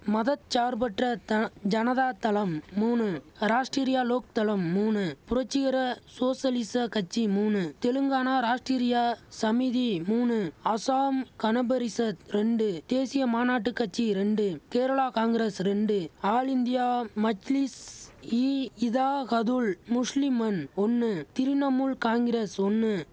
மத சார்பற்ற தன ஜனதா தளம் மூனு ராஷ்டிரியா லோக் தளம் மூனு புரட்சிகர சோஷலிச கட்சி மூனு தெலுங்கானா ராஷ்டிரியா சமிதி மூனு அசாம் கணபரிஷத் ரெண்டு தேசிய மாநாட்டு கட்சி ரெண்டு கேரளா காங்கிரஸ் ரெண்டு ஆல் இந்தியா மஜ்லிஸ் இ இதாஹதுல் முஸ்லிமன் ஒன்னு திரிணமுல் காங்கிரஸ் ஒன்னு